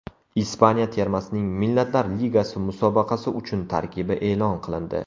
Ispaniya termasining Millatlar Ligasi musobaqasi uchun tarkibi e’lon qilindi.